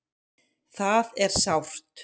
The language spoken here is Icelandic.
Það er sárt